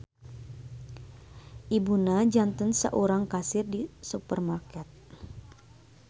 Ibuna janten saurang kasir di supermarket.